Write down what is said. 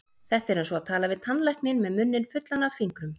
Þetta er eins og tala við tannlækninn með munninn fullan af fingrum.